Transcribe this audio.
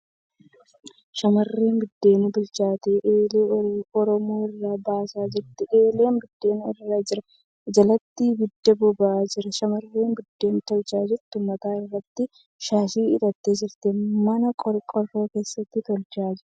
Shamarreen buddeen bilchaate eelee Oromoo irraa baasaa jirti. Eelee buddeen irra jira jalatti ibiddi boba'aa jira. Shamarreen buddeen tolchaa jirtu mataa irratti shaashii hidhattee jirti .Mana qorqoorroo keessatti tolchaa jirti.